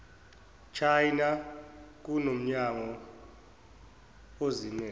china kunomnyango ozimmele